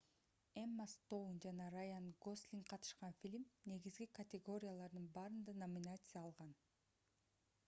эмма стоун жана раян гослинг катышкан фильм негизги категориялардын баарында номинация алган